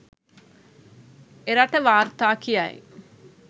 එරට වාර්තා කියයි.